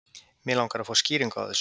Mig langar að fá skýringu á þessu.